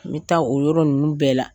N mi taa o yɔrɔ ninnu bɛɛ la.